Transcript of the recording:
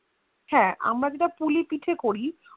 হ্যান আমার যেটা পুলি পিঠে করি